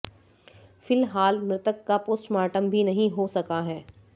फिलहाल मृतक का पोस्टमार्टम भी नहीं हो सका है